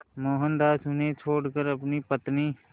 मोहनदास उन्हें छोड़कर अपनी पत्नी